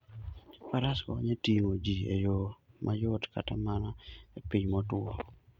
Faras konyo e ting'o ji e yo mayot kata mana e piny motwo.